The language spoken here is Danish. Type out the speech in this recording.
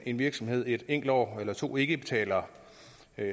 en virksomhed et enkelt år eller to ikke betaler